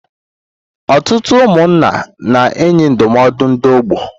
Ọtụtụ ụmụnna na-enye ndụmọdụ ndị ọgbọ.